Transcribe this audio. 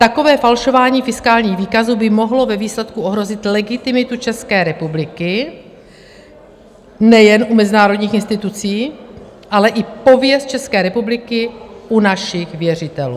Takové falšování fiskálních důkazů by mohlo ve výsledku ohrozit legitimitu České republiky nejen u mezinárodních institucí, ale i pověst České republiky u našich věřitelů.